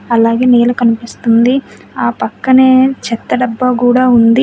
అలాగే నేల కనిపిస్తుంది ఆ పక్కనే చెత్త డబ్బా కూడా ఉంది.